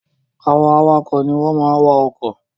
Àwọn awakọ̀ ní wọ́n máa n wa ọkọ̀ Drivers are those that drive cars